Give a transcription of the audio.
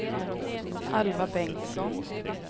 Alva Bengtsson